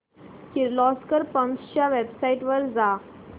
Kirloskar pumps च्या website वर जा